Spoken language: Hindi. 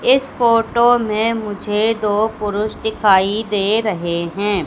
इस फोटो में मुझे दो पुरुष दिखाई दे रहे हैं।